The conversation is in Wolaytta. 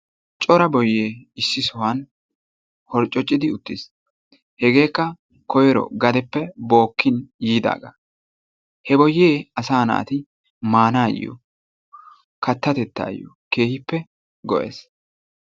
Cora boyee issi sohuwan horccoccidi uttiis. Hegeekka koyro gadeppe bookkin yiidaaga, he boyyee asa naati maanaayo katatettayo keehippe go'ees.